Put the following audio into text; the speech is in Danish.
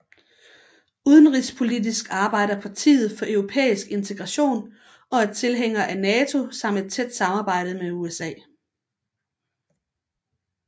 Udenrigspolitisk arbejder partiet for europæisk integration og er tilhænger af NATO samt et tæt samarbejde med USA